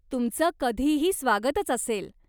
तुमचं कधीही स्वागतच असेल!